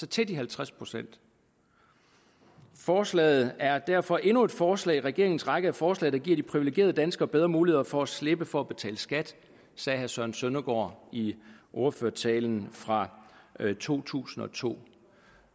til de halvtreds procent forslaget er derfor endnu et forslag i regeringens række af forslag der giver de privilegerede danskere bedre muligheder for at slippe for at betale skat sagde herre søren søndergaard i ordførertalen fra to tusind og to